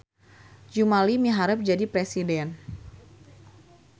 Jumali miharep jadi presiden